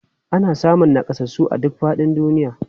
Ana samun nakasassu a duk faɗin duniya.